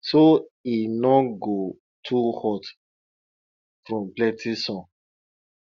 so e no go too hot from plenty sun